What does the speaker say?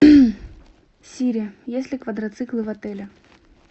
сири есть ли квадроциклы в отеле